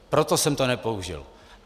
Proto jsem to nepoužil.